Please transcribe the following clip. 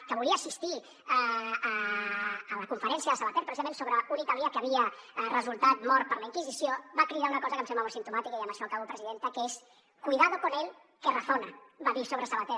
que volia assistir a la conferència de savater precisament sobre un italià que havia resultat mort per la inquisició va cridar una cosa que em sembla molt simptomàtica i amb això acabo presidenta que és cuidado con él que razona va dir sobre savater